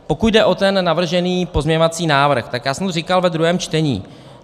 Pokud jde o ten navržený pozměňovací návrh, tak já jsem to říkal ve druhém čtení.